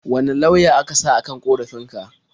Wane lauya aka sa a kan ƙorafin ka?